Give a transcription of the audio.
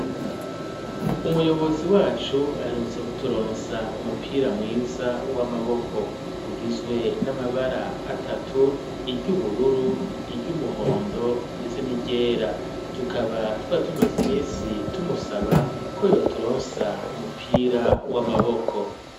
umuyobozi wacu ,aherutse kuturonsa umupira mwiza w'amaboko ,ugizwe n'amabara atatu iryubururu ,iry'umuhondo ,ndetse n'iryera, tukaba twari tumaze iminsi tumusaba ko, yo turonsa umupira w'amaboko.